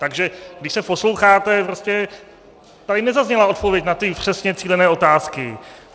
Takže když se posloucháte, prostě tady nezazněla odpověď na ty přesně cílené otázky.